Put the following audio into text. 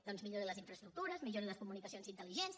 doncs millori les infraestructures millori les comunicacions intelligents